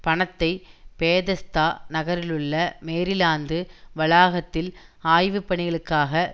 பணத்தை பேதெஸ்தா நகரிலுள்ள மேரிலாந்து வளாகத்தில் ஆய்வுப்பணிகளுக்காக